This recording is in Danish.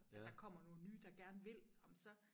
Der kommer nogen nye der gerne vil ej men så